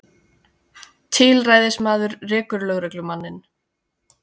Tilræðismaður rekur lögmanninn